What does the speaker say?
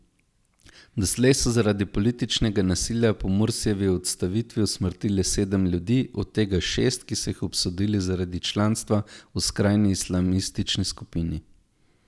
Doslej so zaradi političnega nasilja po Mursijevi odstavitvi usmrtili sedem ljudi, od tega šest, ki so jih obsodili zaradi članstva v skrajni islamistični skupini.